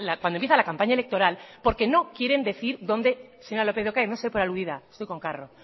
cuando empieza la campaña electoral porque no quieren decir dónde para no decir lo que piensa señora lópez de ocariz no se dé por aludida estoy con carro